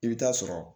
I bɛ taa sɔrɔ